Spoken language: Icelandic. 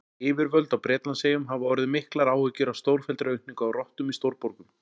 Yfirvöld á Bretlandseyjum hafa orðið miklar áhyggjur af stórfelldri aukningu á rottum í stórborgum.